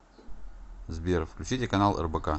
сбер включите канал рбк